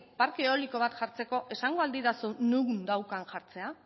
parke eoliko bat jartzeko esango al didazu non daukan jartzea